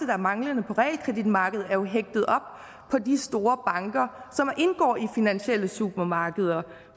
der mangler på realkreditmarkedet er jo hægtet op på de store banker som indgår i finansielle supermarkeder